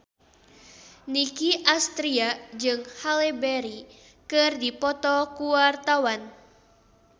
Nicky Astria jeung Halle Berry keur dipoto ku wartawan